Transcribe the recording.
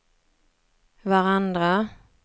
varandra